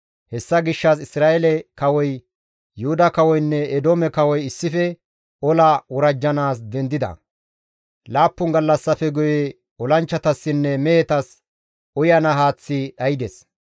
Hessa gishshas Isra7eele kawoy, Yuhuda kawoynne Eedoome kawoy issife ola worajjanaas dendida. Laappun gallassafe guye olanchchatassinne mehetas uyana haaththi dhaydes.